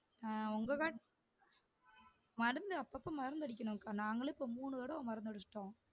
ஆஹ் உங்க காட்டுல மருந்து அப்பப்பா மருந்து அடிக்கணும்க்கா நாங்களே இப்போ மூணு தடவ மருந்து அடிச்சுட்டோம்